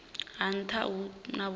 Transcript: ha nha hu na vhukoni